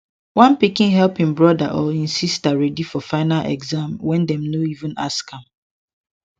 one pikin help im brother or im sister ready for final exam wen dem no even ask am